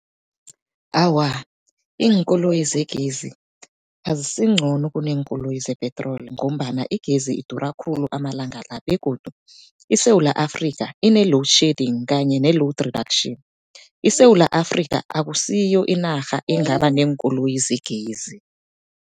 Awa, iinkoloyi zegezi azisincono kuneenkoloyi zepetroli, ngombana igezi idura khulu amalanga la. Begodu iSewula Afrika, ine-loadshedding kanye ne-load reduction. ISewula Afrika akusiyo inarha engaba neenkoloyi zegezi.